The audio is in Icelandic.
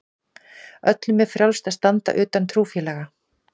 Öllum er frjálst að standa utan trúfélaga.